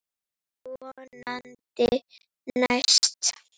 Vonandi næst.